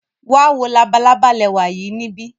Wa wo labalaba lẹwa yii nibi.